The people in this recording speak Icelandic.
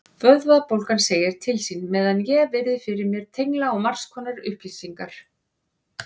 Vöðvabólgan segir til sín meðan ég virði fyrir mér tengla á margskonar upplýsingar.